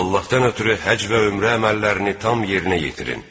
Allahdan ötrü həcc və ümrə əməllərini tam yerinə yetirin.